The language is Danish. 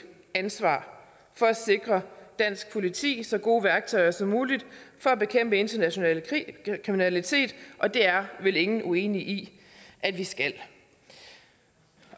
ansvar for at sikre dansk politi så gode værktøjer som muligt for at bekæmpe international kriminalitet og det er vel ingen uenige i at vi skal